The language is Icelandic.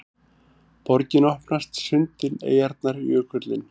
Borgin opnast: sundin, eyjarnar, jökullinn